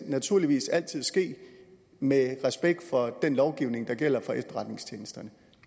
naturligvis altid ske med respekt for den lovgivning der gælder for efterretningstjenesterne